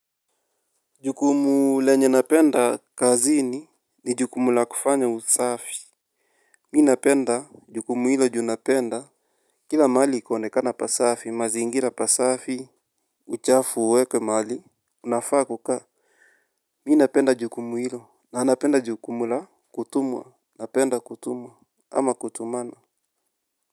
Jukumu lenye napenda kazini ni jukumu la kufanya usafi. Mi napenda jukumu hilo juu napenda. Kila mahali ikionekana pasafi mazingira pasafi. Uchafu uwekwe mahali unafaa kukaa. Mimi napenda jukumu hilo na napenda jukumu la kutumwa. Napenda kutumwa ama kutumana.